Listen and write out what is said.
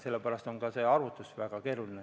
Sellepärast on ka see arvutus väga keeruline.